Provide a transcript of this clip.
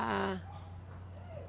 Ah.